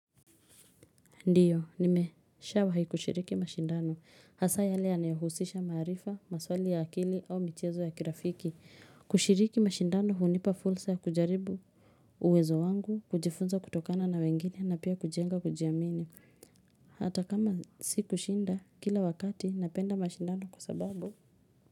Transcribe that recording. Ndiyo nimeshawahi kushiriki mashindano hasa yale yanayohusisha maarifa maswali ya akili au michezo ya kirafiki kushiriki mashindano hunipa fursa ya kujaribu uwezo wangu kujifunza kutokana na wengine na pia kujenga kujiamini Hata kama sikushinda, kila wakati napenda mashindano kwa sababu.